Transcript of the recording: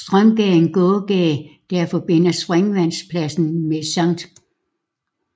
Strømgade er en gågade der forbinder Springvandspladsen med Sct